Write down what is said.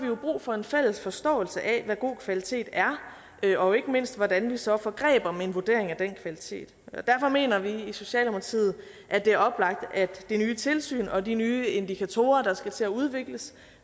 jo brug for en fælles forståelse af hvad god kvalitet er og ikke mindst hvordan vi så får greb om en vurdering af den kvalitet derfor mener vi i socialdemokratiet at det er oplagt at det nye tilsyn og de nye indikatorer der skal til at udvikles